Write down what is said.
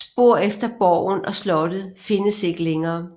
Spor efter borgen og slottet findes ikke længere